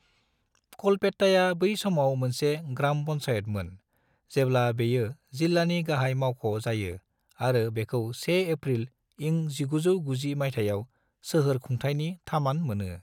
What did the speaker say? कलपेट्टाया बै समाव मोनसे ग्राम पन्चायतमोन जेब्ला बेयो जिल्लानि गाहाय मावख' जायो आरो बेखौ 1 एफ्रिल इं 1990 माइथायाव सोहोर खुंथायनि थामान मोनो।